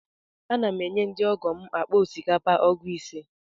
Ana m enye ndị ọgọ m akpa osikapa ọgụ ise.